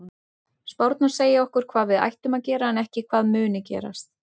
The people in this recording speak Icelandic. Spárnar segja okkur hvað við ættum að gera en ekki hvað muni gerast.